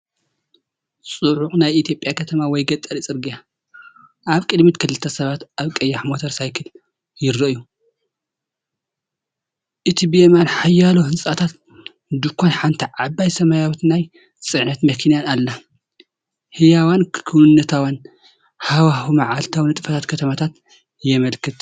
ጽዑቕ ናይ ኢትዮጵያ ከተማ ወይ ገጠር ጽርግያ። ኣብ ቅድሚት ክልተ ሰባት ኣብ ቀያሕ ሞተር ሳይክል ይረኣዩ፤ እቲ ብየማን ሓያሎ ህንጻታትን ድኳንን ሓንቲ ዓባይ ሰማያዊት ናይ ጽዕነት መኪናን ኣላ። ህያውን ክውንነታውን ሃዋህው መዓልታዊ ንጥፈታት ከተማታት የመልክት፡፡